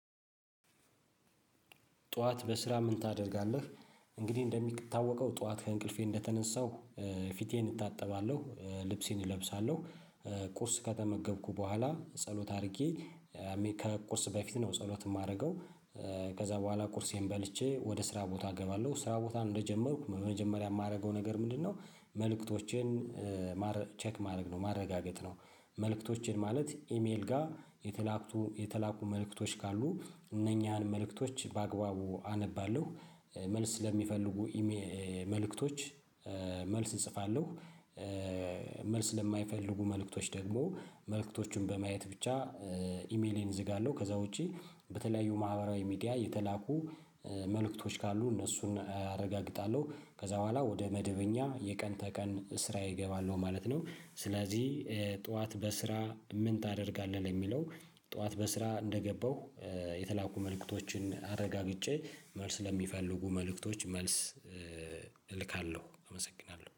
ጠዋት በስራ ምን ታደርጋለህ? እንግዲህ እንደሚታወቀው ጠዋት ከእንቅልፌ እንደተነሳው ፊቴን እታጠባለሁ፣ ልብሴን እለብሳለሁ፣ ቁስ ከተመገብኩ በኋላ ጸሎት አድርጌ ከቁርስ በፊት ነው ጸሎት የማደርገው። ከዛ በኋላ ቁርሴን በልቼ ወደ ስራ ቦታ እገባለሁ። ስራ ቦታን እንደጀመርኩ መጀመሪያ የማደርገው ነገር ምንድነው? መልእክቶችን ቼክ ማድረግ ነው ማረጋገጥ ነው። መልእክቶችን ማለት ኢሜል ጋር የተላኩ የተላኩ መልእክቶች ካሉ እነኛን መልእክቶች በአግባቡ አነባለሁ። መልስ ለሚፈልጉ መልእክቶች መልስ እጽፋለሁ። መልስ ለማይፈልጉ መልእክቶች ደግሞ መልእክቶቹን በማየት ብቻ ኢሜሌን እዘጋለሁ። ከዛ ውጪ በተለያዩ ማህበራዊ ሚዲያ የተላኩ መልእክቶች ካሉ እነሱን አረጋግጣለሁ። ከዛ በኋላ ወደ መደበኛ የቀን ተቀን ስራየ ይገባለሁ ማለት ነው። ስለዚህ ጠዋት በስራ ምን ታደርጋለህ? ለሚለው ጠዋት በስራ እንደገባሁ የተላኩ መልእክቶችን አረጋግጨ መልስ ለሚፈልጉ መልእክቶች መልስ እልካለሁ። አመሰግናለሁ።